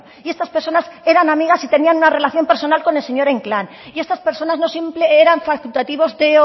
y estas personas eran amigas y tenían una relación personal con el señor inclán y estas personas no eran simples facultativos de